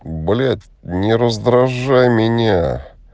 блять не раздражай меня